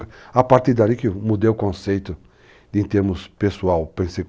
A partir dali que mudei o conceito em termos pessoal.